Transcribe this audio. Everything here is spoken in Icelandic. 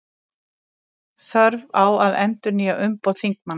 Þörf á að endurnýja umboð þingmanna